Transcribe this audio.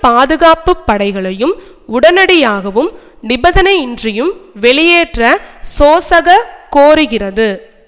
பாதுகாப்பு படைகளையும் உடனடியாகவும் நிபந்தனையின்றியும் வெளியேற்ற சோசக கோருகிறது